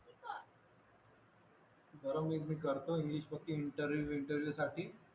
बरं मग मी करतो इंग्लिश पक्की इंटरव्ह्यु साठी